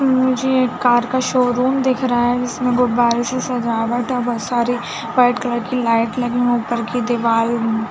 मुझे एक कार का शोरूम दिख रहा है जिसमे गुब्बारे से सजावट है और बहोत सारी वाइट कलर की लाइट लग हुई ऊपर की दिवाल--